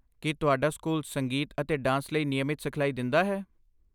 ਕੀ ਤੁਹਾਡਾ ਸਕੂਲ ਸੰਗੀਤ ਅਤੇ ਡਾਂਸ ਲਈ ਨਿਯਮਤ ਸਿਖਲਾਈ ਦਿੰਦਾ ਹੈ?